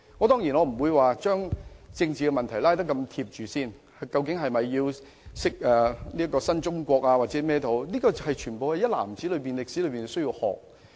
當然，我不會把政治問題與這件事緊扣一起，例如是否應教授新中國歷史之類，但所有歷史一籃子都需要學習。